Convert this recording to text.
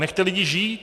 Nechte lidí žít!